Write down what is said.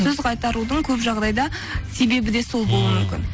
сөз қайтарудың көп жағдайда себебі де сол болуы мүмкін ммм